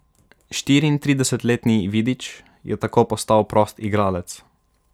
Štiriintridesetletni Vidič je tako postal prost igralec.